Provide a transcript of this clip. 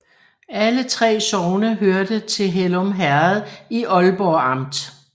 Alle 3 sogne hørte til Hellum Herred i Ålborg Amt